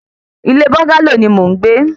Ilé búńgálò ni mò ń gbé